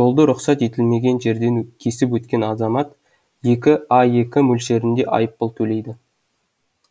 жолды рұқсат етілмеген жерден кесіп өткен азамат екі аек мөлшерінде айыппұл төлейді